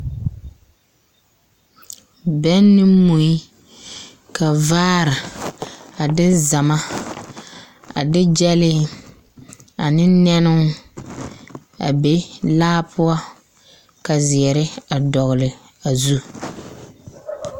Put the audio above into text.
Bɛn ne mui, ka vaare a de zama, a de gyɛlee ane nɛnoo a be laa poɔ ka zeɛre a dɔgle a zu. 13402